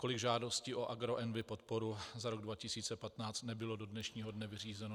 Kolik žádostí o agroenvi podporu za rok 2015 nebylo do dnešního dne vyřízeno?